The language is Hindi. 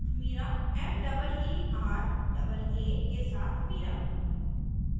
* meeraa के साथ meeraa